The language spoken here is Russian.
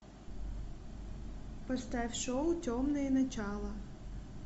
поставь шоу темное начало